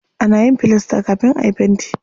Ana yin filasta kafin ayi fenti.